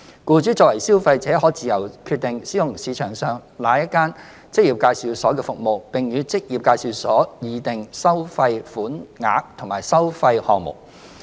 僱主作為消費者，可自由決定使用市場上哪一間職業介紹所的服務，並與職業介紹所議定收費款額和收費項目。